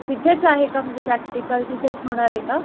तिथेच आहे का प्रॅक्टिकल म्हणजे तिथेच होणारे का?